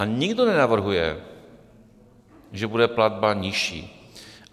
A nikdo nenavrhuje, že bude platba nižší.